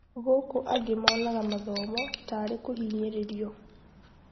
Gũkũ angĩ monaga mathomo tarĩ kũhinyĩrĩrio.